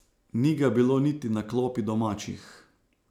Ni ga bilo niti na klopi domačih.